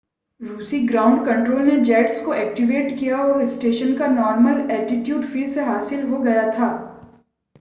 रूसी ground control ने jets को एक्टिवेट किया और स्टेशन का नॉर्मल एटिट्यूड फिर से हासिल हो गया था